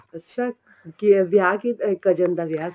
ਅੱਛਾ ਕੀ ਵਿਆਹ ਕੀ cousin ਦਾ ਵਿਆਹ